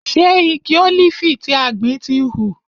Ṣe igi ólífì tí a gbìn ti hù?